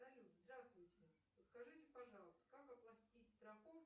салют здравствуйте подскажите пожалуйста как оплатить страховку